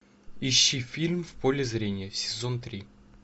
ищи фильм в поле зрения сезон три